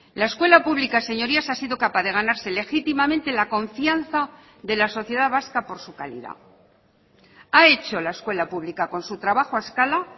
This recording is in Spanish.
la escuela pública señorías ha sido capaz de ganarse legítimamente la confianza de la sociedad vasca por su calidad ha hecho la escuela pública con su trabajo a escala